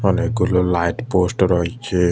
অনেকগুলো light post রয়েচে ।